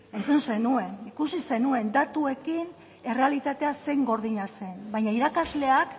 entzun zenuen ikusi zenuen datuekin errealitatea zein gordina zen baina irakasleak